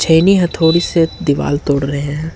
छेनी हथौड़ी से दीवार तोड़ रहे हैं।